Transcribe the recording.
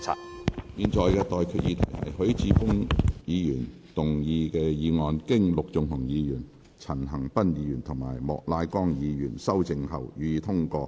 我現在向各位提出的待決議題是：許智峯議員動議的議案，經陸頌雄議員、陳恒鑌議員及莫乃光議員修正後，予以通過。